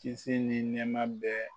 Kisi ni nɛma bɛɛ.